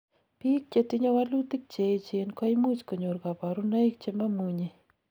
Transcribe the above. biik chetinyei walutik cheechen koimuch konyor kaborunoik chemamunyei